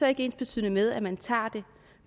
er ensbetydende med at man tager det